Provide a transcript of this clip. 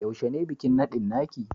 Yaushe ne bikin nadin naki?